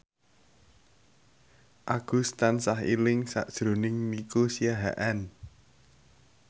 Agus tansah eling sakjroning Nico Siahaan